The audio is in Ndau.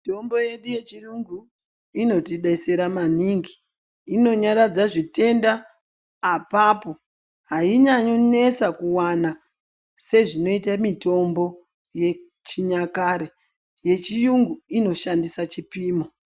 Mitombo yedu yechirungu inotidetsera maningi inonyaradza zvitenda apapo ainyanyi kunetsa kuwana sezvinoita mitombo yechinyakare yechirungu inoshandisa chipimo.